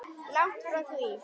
Langt frá því.